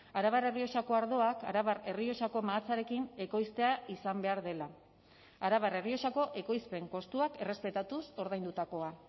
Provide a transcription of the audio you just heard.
arabar errioxako ardoak arabar errioxako mahatsarekin ekoiztea izan behar dela arabar errioxako ekoizpen kostuak errespetatuz ordaindutakoa